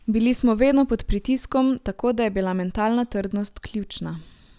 Bili smo vedno pod pritiskom, tako da je bila mentalna trdnost ključna.